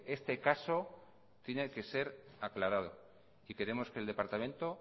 este caso tiene que ser aclarado y queremos que el departamento